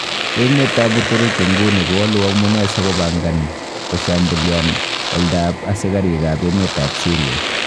Emetab Uturuki nguni kowolu amune sigopangan koshambuliam oldab asigarikab emet ab Syria.